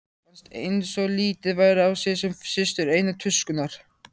Fannst einsog litið væri á sig sem systur einnar tuskunnar.